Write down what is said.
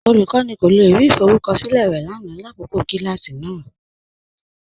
Olúkọni kò le rí ìfọrùkọṣilẹ̀ rẹ lánà làkọkọ̀ kilàsí náà.